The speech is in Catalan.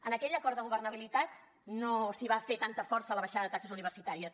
en aquell acord de governabilitat no s’hi va fer tanta força a la baixada de taxes universitàries